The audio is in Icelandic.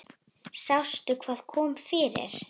Sástu hvað kom fyrir?